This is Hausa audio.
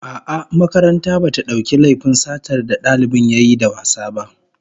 A'a, makaranta bata dauki laifin satar da dalibin yayi da wasa ba